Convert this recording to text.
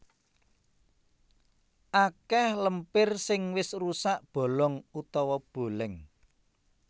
Akèh lempir sing wis rusak bolong utawa bolèng